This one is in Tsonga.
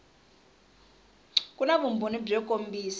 ku na vumbhoni byo kombisa